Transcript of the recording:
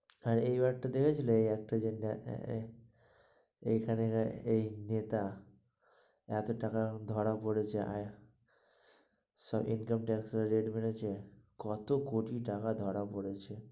আর এই বার টা দেখছিলে এই একটা যেটা এখানে এর এই টা এত টাকা ধরা পড়েছে income tax এ rate মেরেছে, কত কোটি টাকা ধরা পড়েছে।